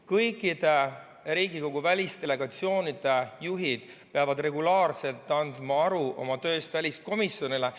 Kõikide Riigikogu välisdelegatsioonide juhid peavad regulaarselt andma aru oma tööst väliskomisjonile.